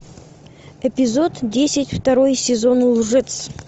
эпизод десять второй сезон лжец